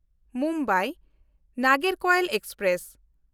ᱢᱩᱢᱵᱟᱭ–ᱱᱟᱜᱚᱨᱠᱳᱭᱤᱞ express